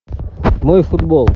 мой футбол